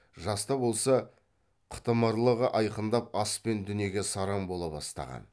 жас та болса қытымырлығы айқындап ас пен дүниеге сараң бола бастаған